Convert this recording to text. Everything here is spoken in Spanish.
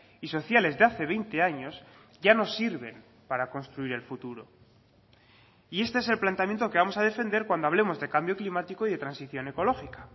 y sociales de hace veinte años ya no sirven para construir el futuro y este es el planteamiento que vamos a defender cuando hablemos de cambio climático y de transición ecológica